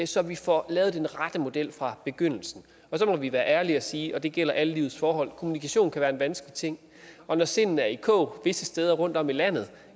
så vi får lavet den rette model fra begyndelsen så må vi være ærlige og sige og det gælder i alle livets forhold at kommunikation kan være en vanskelig ting og når sindene er i kog visse steder rundtom i landet